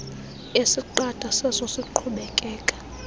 esiqatha seso siqhubekeka